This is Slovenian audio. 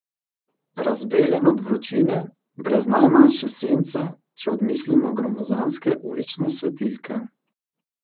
Razbeljen od vročine, brez najmanjše sence, če odmislimo gromozanske ulične svetilke.